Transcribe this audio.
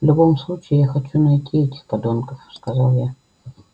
в любом случае я хочу найти этих подонков сказал я